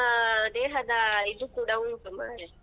ಹೌದು ಈಗ ವಾತಾವರಣಕ್ಕೇ ತಕ್ಕ ಹಾಗೆ ನಮ್ಮ ದೇಹದ ಇದು ಕೂಡ ಉಂಟು ಮಾರೆ.